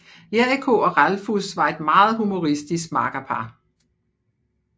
Jericho og Ralphus var et meget humoristisk makkerpar